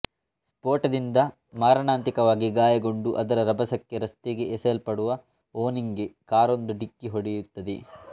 ಸ್ಫೋಟದಿಂದ ಮಾರಣಾಂತಿಕವಾಗಿ ಗಾಯಗೊಂಡು ಅದರ ರಭಸಕ್ಕೆ ರಸ್ತೆಗೆ ಎಸೆಯಲ್ಪಡುವ ಓಂನಿಗೆ ಕಾರೊಂದು ಢಿಕ್ಕಿ ಹೊಡೆಯುತ್ತದೆ